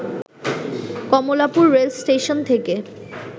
Kamalapur rail station থেকে